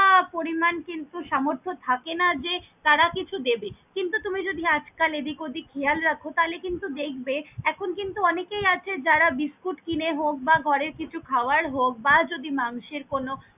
আ পরিমান কিন্তু সামর্থ্য থাকেনা যে তারা কিছু দেবে, কিন্তু তুমি যদি আজ কাল এদিক অদিক খেয়াল রাখো তালে কিন্তু দেখবে এখন কিন্তু অনেকেই আছে যারা বিস্কুট কিনে হক বা ঘড়ের কিছু খাবার হক বা যদি মানুষের কোনো।